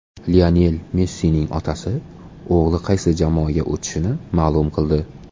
Lionel Messining otasi o‘g‘li qaysi jamoaga o‘tishini ma’lum qildi.